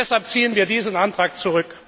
Deshalb ziehen wir diesen Antrag zurück.